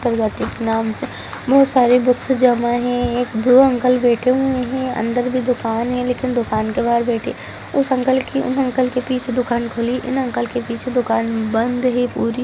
प्रवती के नाम से बहुत सारे बुक्स जमा है दो अंकल बैठे हुए हैं अंदर भी दुकान है लेकिन दुकान के बहार बैठे। उस अंकल उन अंकल के पीछे दुकान खुली उन अंकल के पीछे दुकान बंद है।